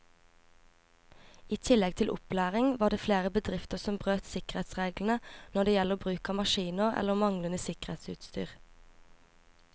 I tillegg til opplæring var det flere bedrifter som brøt sikkerhetsreglene når det gjelder bruk av maskiner eller manglende sikkerhetsutstyr.